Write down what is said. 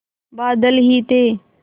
बादल ही थे